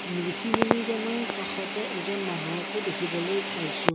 ঋষিমুনিজনৰ কাষতে এজন মানুহকো দেখিবলৈ পাইছোঁ।